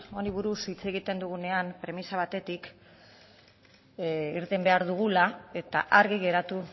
honi buruz hitz egiten dugunean premisa batetik irten behar dugula eta argi geratu